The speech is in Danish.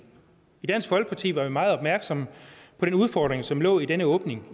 i dansk folkeparti var vi meget opmærksomme på den udfordring som lå i denne åbning